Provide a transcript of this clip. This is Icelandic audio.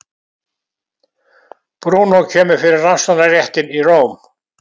Brúnó kemur fyrir Rannsóknarréttinn í Róm.